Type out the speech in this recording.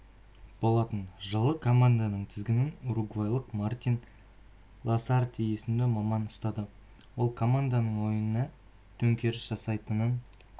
болатын жылы команданың тізгінін уругвайлық мартин ласарте есімді маман ұстады ол команданың ойынына төңкеріс жасайтынын